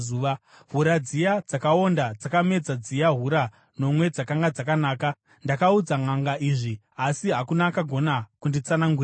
Hura dziya dzakaonda dzakamedza dziya hura nomwe dzakanga dzakanaka. Ndakaudza nʼanga izvi, asi hakuna akagona kunditsanangurira.”